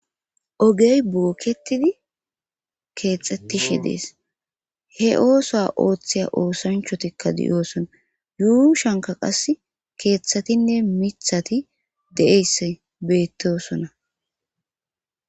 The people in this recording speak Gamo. ogey bookketidi keexxettishi dees he ooso ooththeya oosanchotikka diyoosona yuushanka qassi keeththatinne mithati de7eyss beettosona